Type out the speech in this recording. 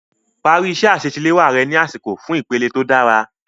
Parí iṣẹ́ àṣetiléwá rẹ ní àsìkò fún ìpele tó dára.